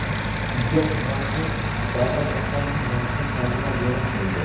Hujjat matni davlat rahbarining rasmiy saytida joylashtirildi .